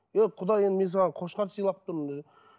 е құда енді мен саған қошқар сыйлап тұрмын десе